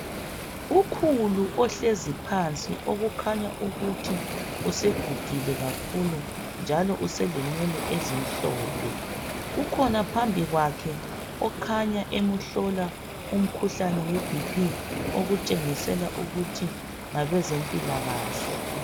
Ukhulu ohlezi phansi okukhanya ukuthi usegugile kakhulu njalo uselenwele ezimhlophe, kukhona phambi kwakhe okhanya emhlola umkhuhlane weBp okutshengisela ukuthi ngabe zempilakahle.